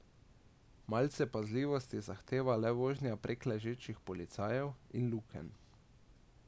Malce pazljivosti zahteva le vožnja prek ležečih policajev in lukenj.